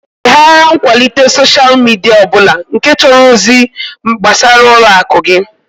Leghara nkwalite soshal midia ọ bụla nke chọrọ ozi gbasara ụlọ akụ gị!